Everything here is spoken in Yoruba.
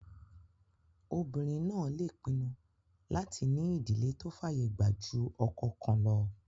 Obìnrin náà lè pinnu láti ní ìdílé tó fàyè gbà jù ọkọ kan lọ